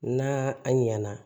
N'a a ɲana